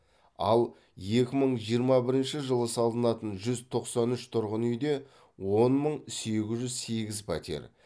ал екі мың жиырма бірінші жылы салынатын жүз тоқсан үш тұрғын үйде он мың сегіз жүз сегіз пәтер